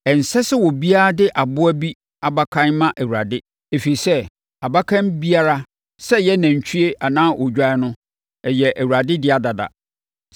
“ ‘Ɛnsɛ sɛ obiara de aboa bi abakan ma Awurade, ɛfiri sɛ abakan biara, sɛ ɔyɛ nantwie anaa odwan no, yɛ Awurade dea dada.